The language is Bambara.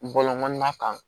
Bɔlɔn ma kan